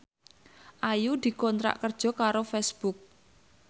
Ayu dikontrak kerja karo Facebook